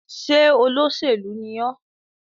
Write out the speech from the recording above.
Ṣé olóṣèlú ni ọ́?